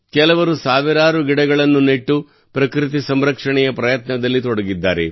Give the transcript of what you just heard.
ಕೆಲವರು ಸಾವಿರಾರು ಗಿಡಗಳನ್ನು ನೆಟ್ಟು ಪ್ರಕೃತಿ ಸಂರಕ್ಷಣೆಯ ಪ್ರಯತ್ನದಲ್ಲಿ ತೊಡಗಿದ್ದಾರೆ